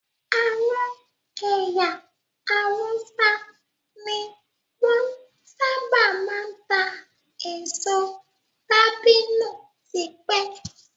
Àwọn ẹyà Hausa ní wọn sábà máa ń ta èso dabino tipẹ́